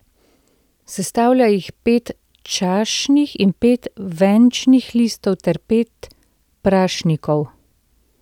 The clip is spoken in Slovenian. Sestavlja jih pet čašnih in pet venčnih listov ter pet prašnikov.